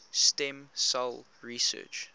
stem cell research